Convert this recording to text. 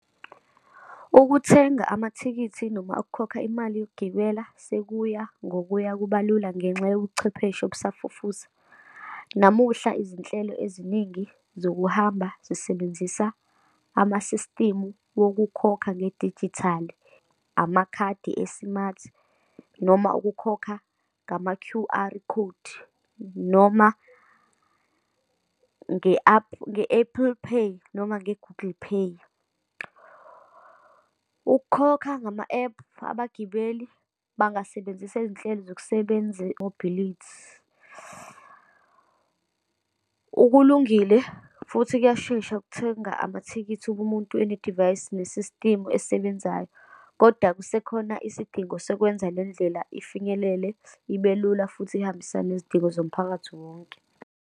Ukuthenga amathikithi, noma ukukhokha imali yokugibela sekuya ngokuya kubalula ngenxa yobuchwepheshe obusafufusa. Namuhla izinhlelo eziningi zokuhamba zisebenzisa amasistimu wokukhokha ngedijithali, amakhadi e-smart, noma ukukhokha ngama Q_R Code, noma nge-app, nge-Apple Pay, noma nge-Google Pay. Ukukhokha ngama-ephu, abagibeli bangasebenzisa izinhlelo zokusebenza i-mobility, ukulungile futhi kuyashesha ukuthenga amathikithi kumuntu one divayisi nesistimu esebenzayo. Kodwa kusekhona isidingo sokwenza lendlela ifinyelele, ibe lula, futhi ihambisane nezidingo zomphakathi wonke.